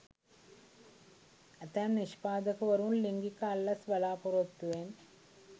ඇතැම් නිෂ්පාදකවරුන් ලිංගික අල්ලස් බලාපොරොත්තුවෙන්